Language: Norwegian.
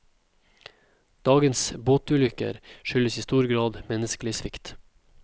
Dagens båtulykker skyldes i stor grad menneskelig svikt.